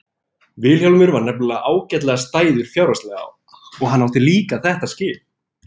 Vilhjálmur var nefnilega ágætlega stæður fjárhagslega og hann átti líka þetta skip.